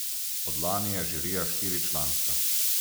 Od lani je žirija štiričlanska.